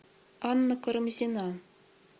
анна карамзина